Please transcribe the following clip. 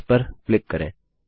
इस पर क्लिक करें